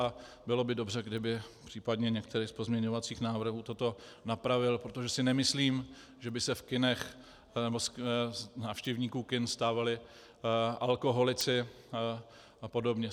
A bylo by dobře, kdyby případně některé z pozměňovacích návrhů toto napravily, protože si nemyslím, že by se v kinech nebo z návštěvníků kin stávali alkoholici a podobně.